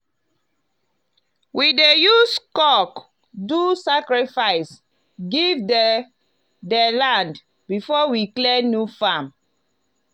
we dey use cock do sacrifice give the the land before we clear new farm.